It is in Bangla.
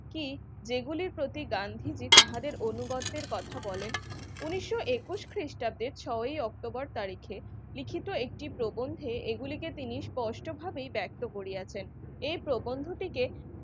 কি যেগুলি প্রতি গান্ধীজি তাহাদের অনুবাদের কথা বলেন উন্নিশ একুশ খ্রিস্টাব্দে ছয় ই অক্টোবর তারিখে লিখিত একটি প্রবন্ধে এগুলিকে তিনি স্পষ্টভাবেই ব্যক্ত করিয়াছেন এ প্রবন্ধ থেকে